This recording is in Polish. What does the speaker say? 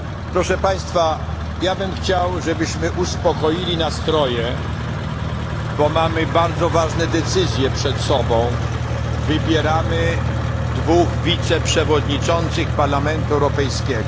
Proszę Państwa, chciałbym, żebyśmy uspokoili nastroje, ponieważ mamy bardzo ważne decyzje przed sobą, wybieramy dwóch wiceprzewodniczących Parlamentu Europejskiego.